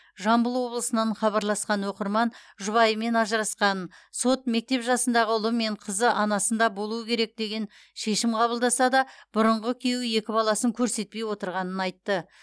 жамбыл облысынан хабарласқан оқырман жұбайымен ажырасқанын сот мектеп жасындағы ұлы мен қызы анасында болуы керек деген шешім қабылдаса да бұрынғы күйеуі екі баласын көрсетпей отырғанын айтты